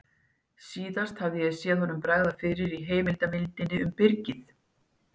Síðast hafði ég séð honum bregða fyrir í heimildarmyndinni um Byrgið.